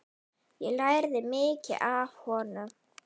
Ég lærði mikið af honum.